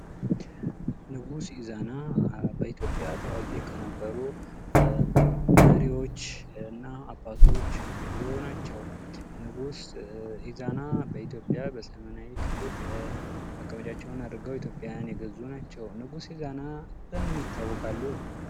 ንጉስ ኢዛና በኢትዮጲያ ታዋቂ ከነበሩ መሪዎች እና አባቶች አንዱ ናቸው ። ንጉስ ኢዛና በኢትዮጵያ በሰሜናዊ ክፍል መቀመጫቸውን አድርገው ኢትዮጵያን የገዙ ናቸው ። ንጉስ ኢዛና በምን ይታወቃሉ ?